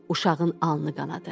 Uşağın alnı qanadı.